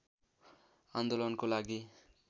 आन्दोलनको लागि